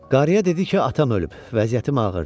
Qarıya dedi ki, atam ölüb, vəziyyətim ağırdır.